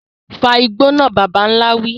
Fa igbó náà, bàbà ńlá wí.